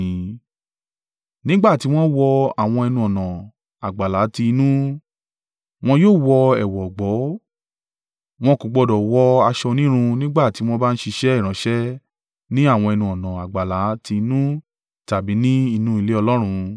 “ ‘Nígbà ti wọ́n wọ àwọn ẹnu-ọ̀nà àgbàlá ti inú, wọn yóò wọ ẹ̀wù ọ̀gbọ̀, wọn kò gbọdọ̀ wọ aṣọ onírun nígbà tí wọ́n bá ń ṣiṣẹ́ ìránṣẹ́ ní àwọn ẹnu-ọ̀nà àgbàlá ti inú tàbí ni inú ilé Ọlọ́run.